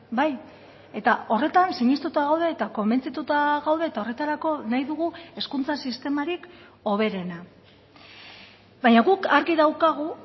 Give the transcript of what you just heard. bai eta horretan sinestuta gaude eta konbentzituta gaude eta horretarako nahi dugu hezkuntza sistemarik hoberena baina guk argi daukagu